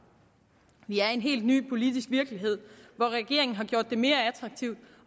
vi er i en helt ny politisk virkelighed hvor regeringen har gjort det mere attraktivt